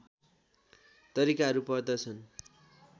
तरिकाहरू पर्दछन्